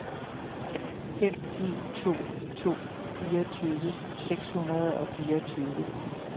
fem en to to fireogtyve seks hundrede og fireogtyve